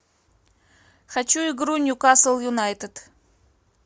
хочу игру ньюкасл юнайтед